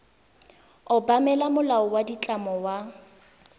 obamela molao wa ditlamo wa